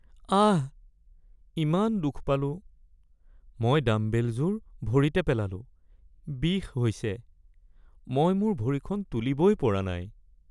আহ! ইমান দুখ পালোঁ। মই ডাম্বেলযোৰ ভৰিতে পেলালো, বিষ হৈছে। মই মোৰ ভৰিখন তুলিবই পৰা নাই।